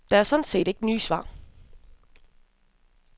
Der er sådan set ikke nye svar.